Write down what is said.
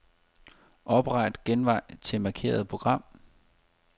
Opret genvej til markerede program.